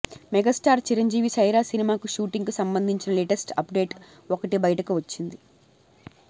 megastar Chiranjeevi Sye Raa cinema shooting కు సంబంధించిన latest update ఒకటి బయటకు వచ్చింది